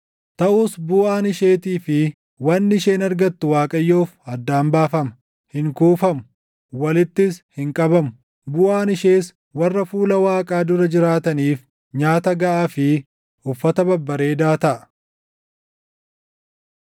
Taʼus buʼaan isheetii fi wanni isheen argattu Waaqayyoof addaan baafama; hin kuufamu; walittis hin qabamu. Buʼaan ishees warra fuula Waaqaa dura jiraataniif nyaata gaʼaa fi uffata babbareedaa taʼa.